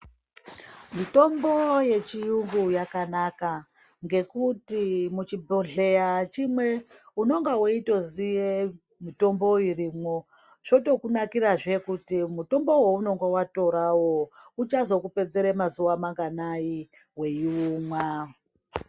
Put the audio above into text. Mitombo yechiyungu yakanaka ngekuti muchibhohleya chimwe unonga weitoziye mitombo irimwo. Zvotokunakirazve kuti mutombo waunenga watorawo uchazokupedzere mazuva manganayi weiumwa.